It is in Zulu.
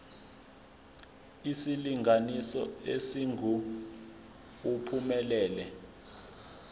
isilinganiso esingu uphumelele